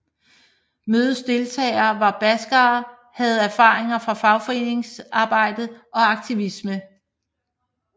Mødets deltagere var baskerere havde erfaringer fra fagforeningsarbejde og aktivisme